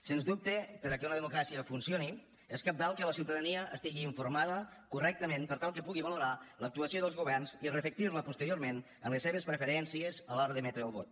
sens dubte perquè una democràcia funcioni és cabdal que la ciutadania estigui informada correctament per tal que pugui valorar l’actuació dels governs i reflectir la posteriorment en les seves preferències a l’hora d’emetre el vot